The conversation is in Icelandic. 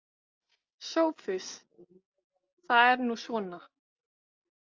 SOPHUS: Það er nú svona.